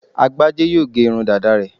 Agbájé yóò gé irun dàda rẹ̀